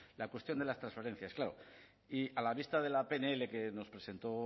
la cuestión de las transferencias claro y a la vista de la pnl que nos presentó